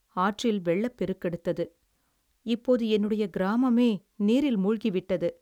ஆற்றில் வெள்ளப் பெருக்கெடுத்தது, இப்போது என்னுடைய கிராமமே நீரில் மூழ்கி விட்டது.